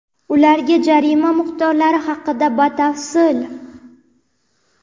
Ularga jarima miqdorlari haqida batafsil.